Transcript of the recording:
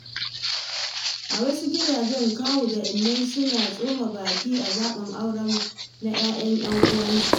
A wasu gidaje, kawu da inna suna tsoma baki a zaɓin aure na ‘ya’yan ‘yan uwansu.